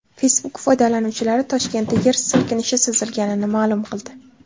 Facebook foydalanuvchilari Toshkentda yer silkinishi sezilganini ma’lum qildi .